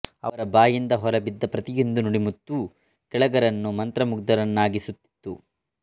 ಅವರ ಬಾಯಿಂದ ಹೊರಬಿದ್ದ ಪ್ರತಿಯೊಂದು ನುಡಿಮುತ್ತೂ ಕೇಳಗರನ್ನು ಮಂತ್ರಮುಗ್ಧ ರನ್ನಾಗಿಸುತ್ತಿತ್ತು